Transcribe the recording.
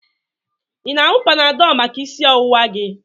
Ị na-aṅụ Panadọlụ maka isi ọwụwa gị.